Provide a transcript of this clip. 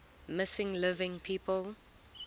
missing living people